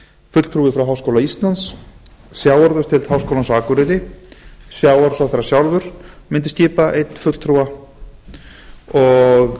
fulltrúi frá háskóla íslands sjávarútvegsdeild háskólans á akureyri sjávarútvegsráðherra mundi skipa einn fulltrúa og